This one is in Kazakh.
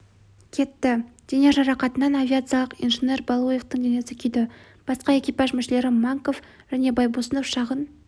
кетті дене жарақатынан авиациялық инженер балуевтың денесі күйді басқа экипаж мүшелері манков және байбосынов шағын